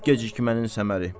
Yox gecikmənin səməri.